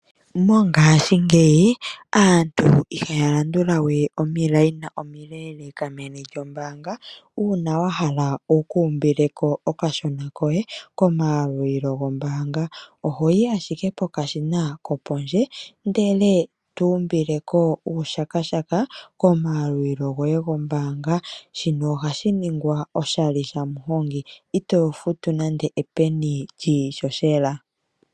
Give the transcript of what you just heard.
Mongashingeyi aantu ihaya landula we omikweyo omileleeka meni lyombaanga uuna wa hala wukuumbileko okashona koye komayalulilo gombaanga. Ohoyi ashike pokashina kopondje ndele tuumbileko uushakashaka komayalulilo goye gombaanga. Shino ohashi ningwa oshali shaMuhongi ito futu nande epeni lyiishoshela.